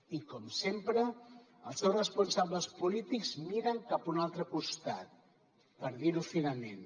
i com sempre els seus responsables polítics miren cap a un altre costat per dir ho finament